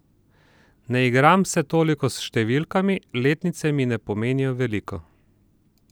Ne igram se toliko s številkami, letnice mi ne pomenijo veliko.